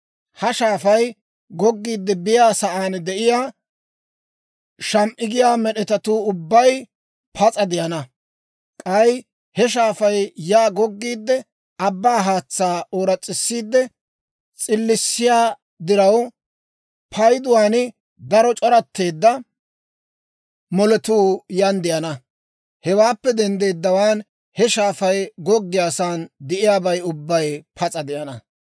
Ha shaafay goggiide biyaa sa'aan de'iyaa, sham"i giyaa med'etatuu ubbay pas'a de'ana; k'ay he shaafay yaa goggiide, abbaa haatsaa ooras's'isiide s'illissiyaa diraw, payduwaan daro c'oratteedda moletuu yaan de'ana. Hewaappe denddeeddawaan, he shaafay goggiyaasan de'iyaabay ubbay pas'a de'ana.